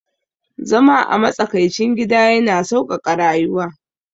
Zama a matsakaicin gida yana sauƙaƙa rayuwa